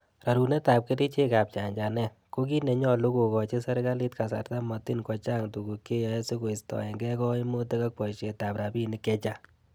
Rorunetab kerichek ab chachanet, ko kiit nenyolu kokochi serkalit kasarta motin kochang tuguk che yoe sikoistienge koimutik ak boishetab rabinik chechang.